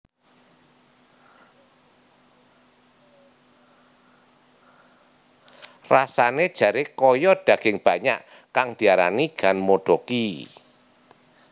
Rasane jare kaya daging banyak kang diarani ganmodoki